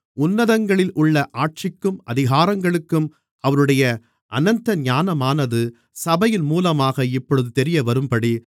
உன்னதங்களிலுள்ள ஆட்சிக்கும் அதிகாரங்களுக்கும் அவருடைய அநந்த ஞானமானது சபையின் மூலமாக இப்பொழுது தெரியவரும்படி